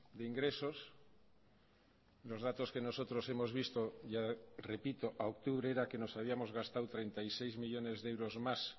de ingresos los datos que nosotros hemos visto ya repito a octubre era que nos habíamos gastado treinta y seis millónes de euros más